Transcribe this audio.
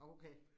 Okay